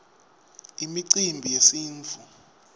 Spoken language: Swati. imicimbi yesintfu